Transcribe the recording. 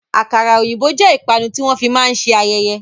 Àkàrà òyìnbó jẹ́ ìpanu tí wọn fi máa ń ṣe ayẹyẹ.